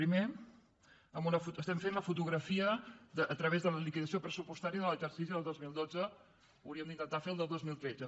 primer estem fent la fotografia a través de la liquidació pressupostària de l’exercici del dos mil dotze hauríem d’intentar fer el del dos mil tretze